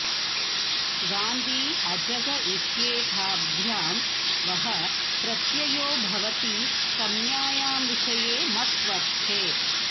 गाण्दी अजग इत्येताभ्यां वः प्रत्ययो भवति संज्ञायां विषये मत्वर्थे